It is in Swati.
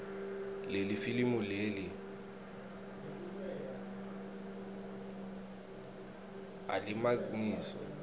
lelifilimu leli alimagniso